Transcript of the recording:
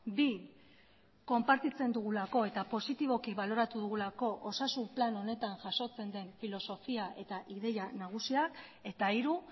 bi konpartitzen dugulako eta positiboki baloratu dugulako osasun plan honetan jasotzen den filosofia eta ideia nagusiak eta hiru